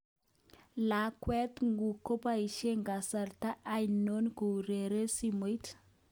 Lakwat nguk koboishen kasta ainon koureren simoit.